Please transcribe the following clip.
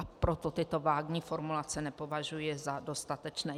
A proto tyto vágní formulace nepovažuji za dostatečné.